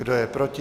Kdo je proti?